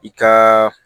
I ka